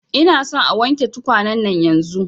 Ina son a wanke tukwane nan yanzun